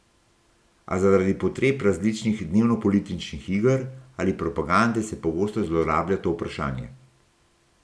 A zaradi potreb različnih dnevnopolitičnih iger ali propagande se pogosto zlorablja to vprašanje.